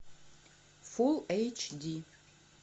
фулл эйч ди